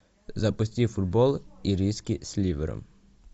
запусти футбол ириски с ливером